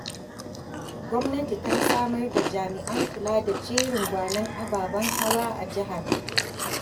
Gwamnati ta samar da jami'an kula da jerin-gwanon ababen hawa a jihar.